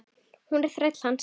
Hún er þræll hans.